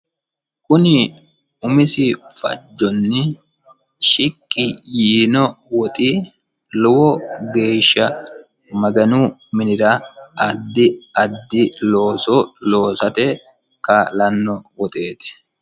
kuni umisi fajjonni shiqqi yiino woxi lowo geeshsha maganu minira addi addi looso loosate kaa'lanno woxeeti.